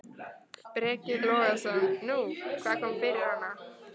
Breki Logason: Nú, hvað kom fyrir hana?